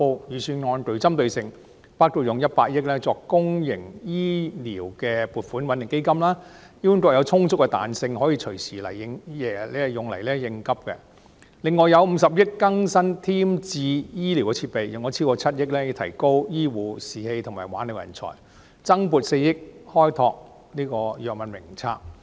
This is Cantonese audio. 預算案就此撥出100億元作公營醫療撥款穩定基金，供醫管局隨時用來應急；另外用50億元添置醫療設備；用超過7億元以提高醫護士氣及挽留人才；增撥4億元擴闊藥物名冊。